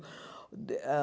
Ãh